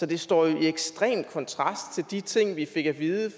det står i ekstrem kontrast til de ting vi fik at vide